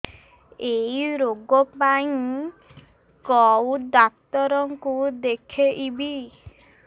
ଏଇ ରୋଗ ପାଇଁ କଉ ଡ଼ାକ୍ତର ଙ୍କୁ ଦେଖେଇବି